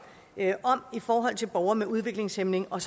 i forhold til borgere med udviklingshæmning og